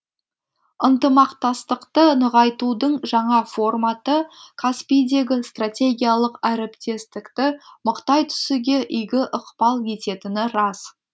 ынтымақтастықты нығайтудың жаңа форматы каспийдегі стратегиялық әріптестікті мықтай түсуге игі ықпал ететіні рас